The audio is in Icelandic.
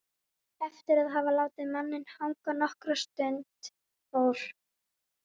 Eftir að hafa látið manninn hanga nokkra stund fór